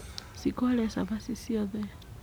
shiku arĩa cabaci ciothe.